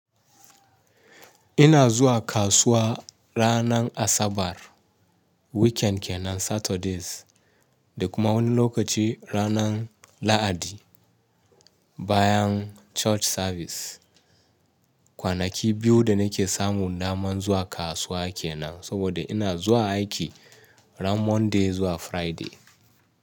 Ina zuwa kasuwa ranar Asabar, weekend kenan Saturdays, da kuma wani lokaci ranar Lahadi bayan church service. Kwanaki biyu da nake samu daman zuwa kasuwa kenan, saboda ina zuwa aiki ran Monday zuwa Friday.